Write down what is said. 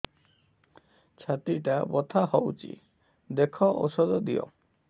ଛାତି ଟା ବଥା ହଉଚି ଦେଖ ଔଷଧ ଦିଅ